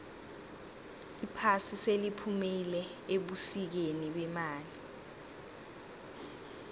iphasi seliphumile ebusikeni bemali